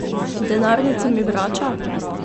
Denarnico mi vrača?